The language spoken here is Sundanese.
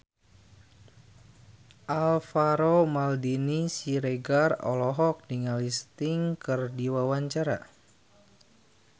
Alvaro Maldini Siregar olohok ningali Sting keur diwawancara